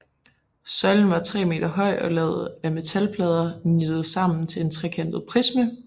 Søjlen var 3 meter høj og lavet af metalplader nittet sammen til en trekantet prisme